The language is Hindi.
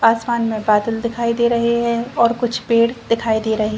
आसमान में बादल दिखाई दे रहे हैं और कुछ पेड़ दिखाई दे रहे --